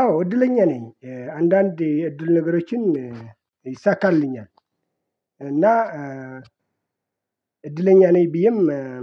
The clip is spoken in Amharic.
አዎ እድለኛ ነኝ አንዳንድ የእድል ነገሮችን ይሳካልኛል። እና እድለኛ ነኝ ብዬም